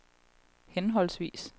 henholdsvis